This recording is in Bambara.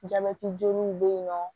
Jabɛti joguw be yen nɔ